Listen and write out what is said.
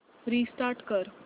restart कर